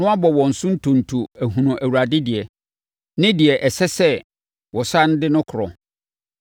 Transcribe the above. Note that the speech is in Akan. na wɔabɔ wɔn so ntonto ahunu Awurade deɛ, ne deɛ ɛsɛ sɛ wɔsane de no korɔ.